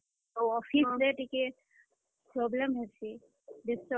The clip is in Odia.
ଆଉ office ରେ ଟିକେ, problem ହେସି, disturbance ହେସି।